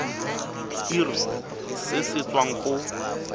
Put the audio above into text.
irp se se tswang go